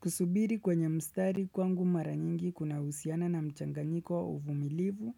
Kusubiri kwenye mstari kwangu mara nyingi kunahusiana na mchanganyiko wa uvumilivu